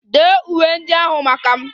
Dee uwe ndị ahụ maka m!